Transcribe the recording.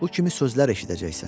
Bu kimi sözlər eşidəcəksən.